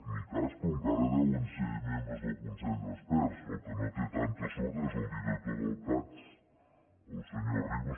ni cas però encara deuen ser membres del consell d’experts el que no té tanta sort és el director del cads el senyor arribas